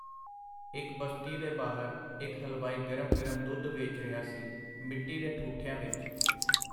ਇਕ ਬਸਤੀ ਦੇ ਬਾਹਰ ਇਕ ਹਲਵਾਈ ਗਰਮ ਗਰਮ ਦੁੱਧ ਵੇਚ ਰਿਹਾ ਸੀ, ਮਿੱਟੀ ਦੇ ਠੁਠਿਆਂ ਵਿਚ.